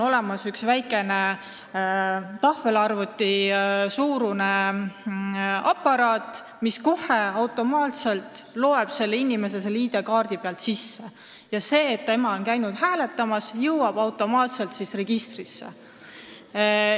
Üks väike tahvelarvutisuurune aparaat loeb automaatselt ID-kaardi pealt inimese andmeid ja see, et inimene on käinud hääletamas, jõuab automaatselt registrisse.